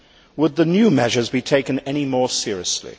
Would the new measures be taken any more seriously?